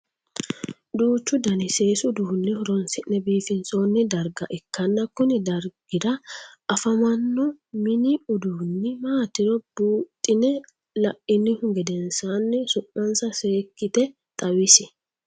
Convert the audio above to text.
Duuchu Danni seesu uduune horoonsi'ne biifinsoonni darga ikanna kunni dargira afammanno minni uduunni maatiro buuxine lainnihu gedensaanni su'mansa seekite xawisi?